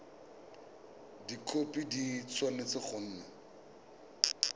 dikhopi di tshwanetse go nna